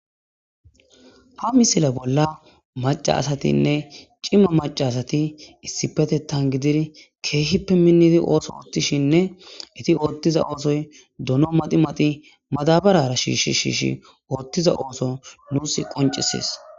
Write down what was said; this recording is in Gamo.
ha misila bolla macasatinne cimma macasati issipetettan gidir keehippe minnidi ooso oottishinne iti oottiza oosoy duno madi mati madabarara shiishi shiishi oottiza ooso nuus qoncisies